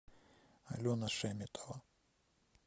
алена шеметова